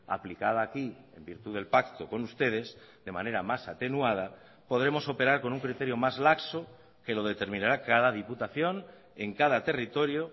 aplicada aquí en virtud del pacto con ustedes de manera más atenuada podremos operar con un criterio más laxo que lo determinará cada diputación en cada territorio